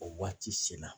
O waati sela